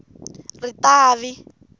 ritavi